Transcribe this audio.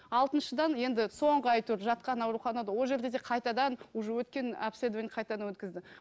алтыншыдан енді соңғы әйтеуір жатқан ауруханада ол жерде да қайтадан уже өткен обследование қайтадан өткізді